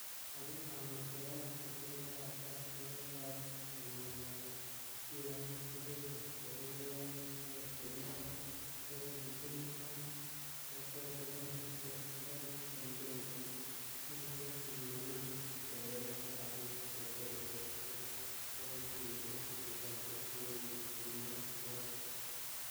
"Ako angot koyak tesetab tai nebo oeng komoboto kion, Kobete bororioni akot kounoton kokergeitu nii ak kokwotinwek che kali en Bengkok komomi kebebertab bik che seretos cheboishechin tugosiek che echen,"Kimwa kwony.